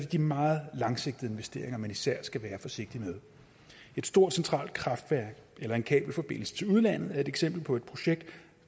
de meget langsigtede investeringer man især skal være forsigtig med et stort centralt kraftværk eller en kabelforbindelse til udlandet er et eksempel på projekter